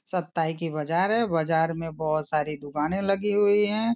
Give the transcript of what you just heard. सताई की बाज़ार है बाज़ार में बहुत सारी दुकाने लगी हुई है।